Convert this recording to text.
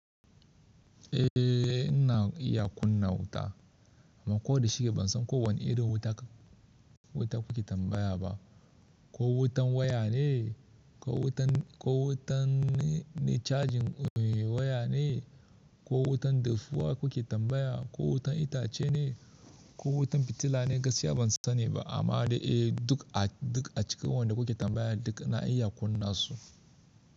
Eh, ina iya kunna wuta amma ko da shike ban san ko wane irin wuta kuke tambaya ba. Ko wutan waya ne, ko wutan, ko wutan na charging waya ne, ko wutan defuwa kuke tambaya, ko wutan itace ne, ko wutan fitila ne gaskiya ban sani ba. Amma duk acikin, duk acikin wanda kuke tambaya duk na iya kunna su.